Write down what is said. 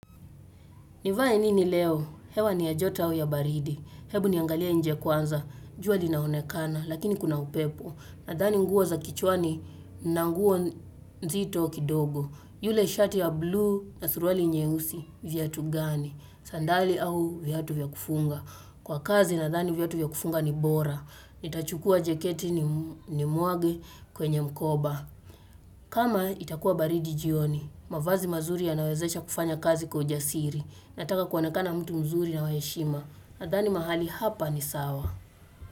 Nivae nini leo? Hewa ni ya joto au ya baridi. Hebu niangalia nje kwanza. Jua linaonekana, lakini kuna upepo. Nadhani nguo za kichwani nanguo nzito kidogo. Yule shati ya blue na suruali nyeusi, viatu gani? Sandali au vyatu vyakufunga. Kwa kazi nadhani viatu vyakufunga ni bora. Nitachukua jaketi ni mwage kwenye mkoba. Kama itakuwa baridi jioni, mavazi mazuri ya nawezesha kufanya kazi kwa ujasiri Nataka kuonekana mtu mzuri na waheshima nadhani mahali hapa ni sawa.